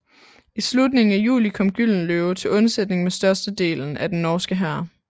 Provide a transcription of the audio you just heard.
I slutningen af juli kom Gyldenløve til undsætning med størstedelen af den norske hær